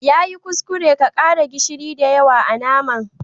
Ya yi kuskure ka kara gishiri da yawa a'naman.